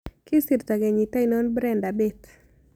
Kisirto kenyit ainon brenda bett